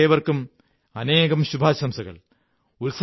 നിങ്ങള്ക്കേനവര്ക്കും അനേകം ശുഭാശംസകൾ